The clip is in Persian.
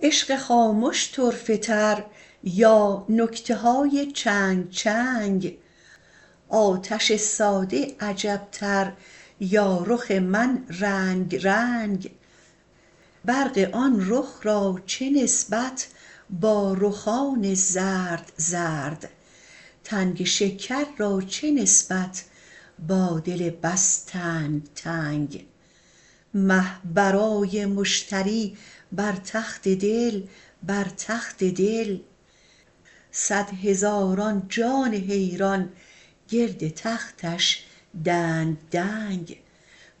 عشق خامش طرفه تر یا نکته های چنگ چنگ آتش ساده عجبتر یا رخ من رنگ رنگ برق آن رخ را چه نسبت با رخان زرد زرد تنگ شکر را چه نسبت با دل بس تنگ تنگ مه برای مشتری بر تخت دل بر تخت دل صد هزاران جان حیران گرد تختش دنگ دنگ